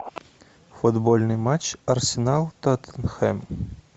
футбольный матч арсенал тоттенхэм